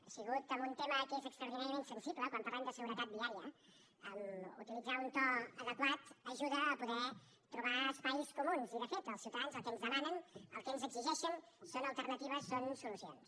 ha sigut amb un tema que és extraordinàriament sensible quan parlem de seguretat viària utilitzar un to adequat ajuda a poder trobar espais comuns i de fet els ciutadans el que ens demanen el que ens exigeixen són alternatives són solucions